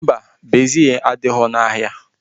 Mba, bezil adighọ n'ahịa